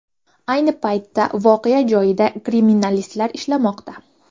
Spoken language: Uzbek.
Ayni paytda voqea joyida kriminalistlar ishlamoqda.